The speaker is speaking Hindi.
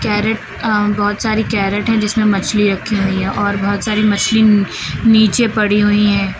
कैरेट अ बहोत सारी कैरेट है जिसमें मछली रखी हुई है और बहोत सारी मछली नीचे पड़ी हुई है।